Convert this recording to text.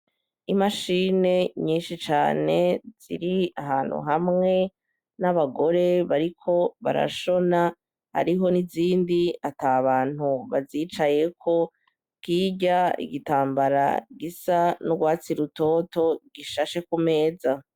Imashine nyinshi cane ziri ahantu hamwe n'abagore bariko barashona ariho n’izindi ata bantu bazicayeko bwirya igitambara gisa n'urwatsi rutoto gishashe ku meza.